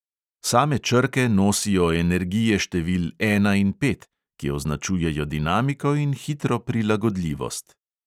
Same črke nosijo energije števil ena in pet, ki označujejo dinamiko in hitro prilagodljivost.